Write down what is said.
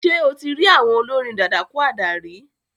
Ṣé o ti rí àwon olórin dadakúádà rí?